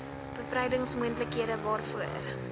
bevrydings moontlikhede waaroor